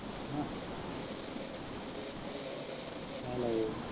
ਆਇਓ।